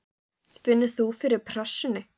Finnur þú fyrir pressunni?